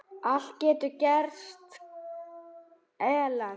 Allt getur gerst, Ellen.